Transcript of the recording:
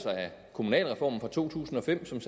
kommunalreformen fra to tusind og fem som